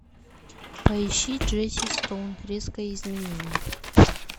поищи джесси стоун резкое изменение